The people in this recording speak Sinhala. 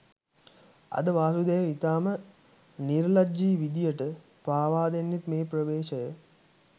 අද වාසුදේව ඉතාම නිර්ලජ්ජි විදියට පාවාදෙන්නෙත් මේ ප්‍රවේශය